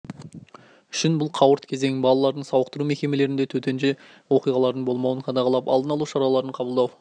үшін бұл қауырт кезең балалардың сауықтыру мекемелерінде төтенше оқиғалардың болмауын қадағалап алдын алу шараларын қабылдау